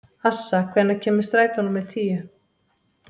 Assa, hvenær kemur strætó númer tíu?